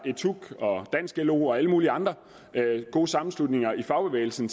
at etuc og dansk lo og alle mulige andre gode sammenslutninger i fagbevægelsen